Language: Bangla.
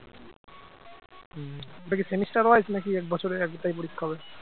ওটা কি semester wise নাকি এক বছরে একটাই পরীক্ষা হবে